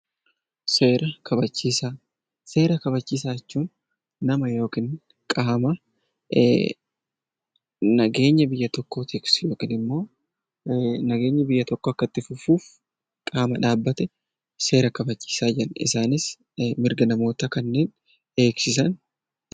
Seera kabachiisaa jechuun nama yookiin qaama nageenya biyya tokkoo tiksu yookiin immoo nageenyi biyya tokkoo akka itti fufuuf qaama dhaabbate seera kabachiisaa jenna. Isaanis mirga namootaa eegsisu.